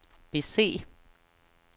bese